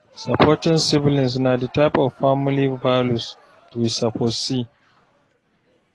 supporting siblings na the type of family values we suppose see